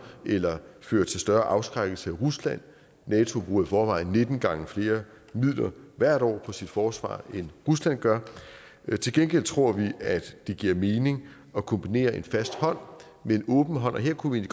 eller fører til større afskrækkelse af rusland nato bruger i forvejen nitten gange flere midler hvert år på sit forsvar end rusland gør til gengæld tror vi at det giver mening at kombinere en fast hånd med en åben hånd og her kunne vi